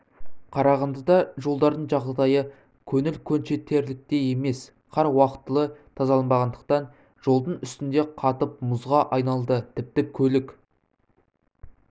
қарағандыда жолдардың жағдайы көңіл көншітерліктей емес қар уақтылы тазаланбағандықтан жолдың үстінде қатып мұзға айналды тіпті көлік